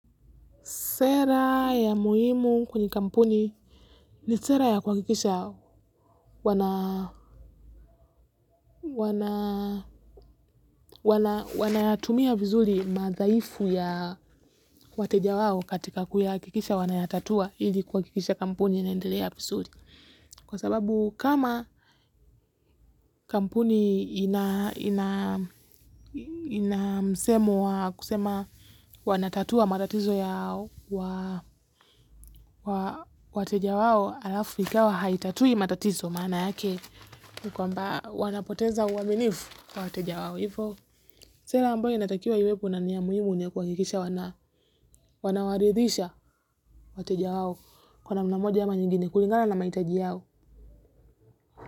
Sera ya muhimu kwenye kampuni ni sera ya kuhakikisha wanayatumia vizuri madhaifu ya wateja wao katika kuyahakikisha wanayatatua ili kuhakikisha kampuni inaendelea vizuri. Kwa sababu kama kampuni ina msemo wa kusema wanatatua matatizo yao wateja wao halafu ikawa haitatui matatizo maana yake. Kwamba wanapoteza uaminifu kwa wateja wao. Hivo, sera ambayo inatakiwa iwekwe na ni ya muhimu ni ya kuhakikisha wanawaridhisha wateja wao. Kwa namna moja ama nyingine kulingana na mahitaji yao.